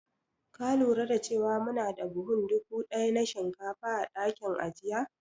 Ka lura da cewa muna da buhun dubu ɗaya na shinkafa a dakin ajiya?